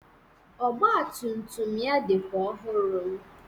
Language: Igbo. Ọgbatumtum ya dịkwa ọhụrụ